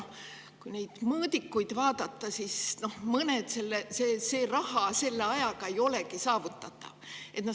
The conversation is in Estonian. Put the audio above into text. Kui neid mõõdikuid vaadata, siis on näha, et mõned asjad selle ajaga ei olegi saavutatavad.